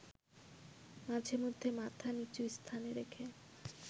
মাঝেমধ্যে মাথা নিচু স্থানে রেখে